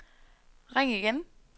ring igen